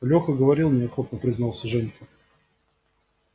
лёха говорил неохотно признался женька